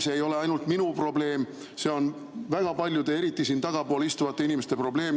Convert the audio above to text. See ei ole ainult minu probleem, see on väga paljude, eriti siin tagapool istuvate inimeste probleem.